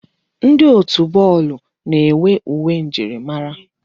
Ndi otu bọọlụ na-enwe uwe njirimara.